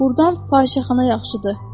Burdan fahişəxana yaxşıdır.